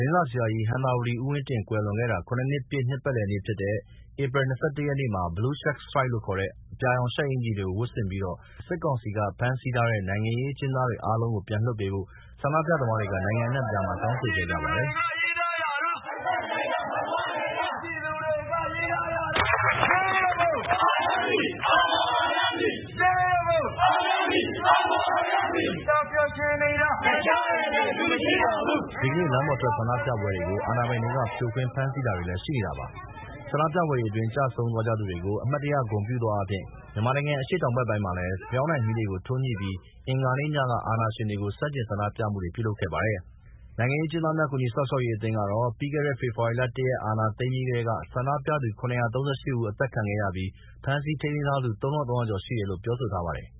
င်းစာဆရာကြီး ဟံသာဝတီဦးဝင်းတင် ကွယ်လွန်တာ ၇ နှစ်ပြည့်နှစ်ပတ်လည်နေ့ဖြစ်တဲ့ ဧပြီလ ၂၁ ရက်နေ့မှာ Blue Shirt Strike လို့ခေါ်တဲ့ အပြာရောင် ရှပ်အင်္ကျီဝတ်ဆင်ပြီး ဒေါ်အောင်ဆန်းစုကြည်နဲ့ သမ္မတ ဦးဝင်းမြင့်အပါအဝင် စစ်ကောင်စီက ဖမ်းဆီးထားတဲ့ နိုင်ငံရေးအကျဉ်းသားတွေအားလုံး ပြန်လွှတ်ပေးဖို့ ဆန္ဒပြသမားတွေ နိုင်ငံအနှံ့မှာ တောင်းဆိုခဲ့ကြပါတယ်။ ဒီကနေ့ လမ်းပေါ်ထွက်ဆန္ဒပြပွဲတွေကို အာဏာပိုင်တွေဘက်က ဖြိုခွင်း၊ ဖမ်းဆီးထားတာလည်း ဆက်ရှိနေပါတယ်။ ဆန္ဒပြပွဲတွေအတွင်းကျဆုံးသွားကြသူတွေကို အမှတ်ရ ဂုဏ်ပြုသောအားဖြင့် မြန်မာနိုင်ငံ အရှေ့တောင်ဘက်ပိုင်းမှာ ဆန္ဒပြသူတွေဟာ ဖယောင်းတိုင်မီးတွေကို ထွန်းညှိပြီးအင်္ဂါနေ့ညက အာဏာရှင်တွေကို ဆန္ဒပြမှုတွေ ပြုလုပ်ခဲ့ပါတယ်။ နိုင်ငံရေးအကျဉ်းသားများကူညီစောင့်ရှောက်ရေး အသင်း ကတော့ ပြီးခဲ့တဲ့ ဖေဖော်ဝါရီ ၁ ရက် အာဏာသိမ်းပြီးကတည်းက ဆန္ဒပြသူ ၇၃၈ ဦး အသတ်ခံခဲ့ရပြီး ဖမ်းဆီးထိန်းသိမ်းထားသူ ၃၃၀၀ ကျော်ရှိတယ်လို့ပြောဆိုထားပါတယ်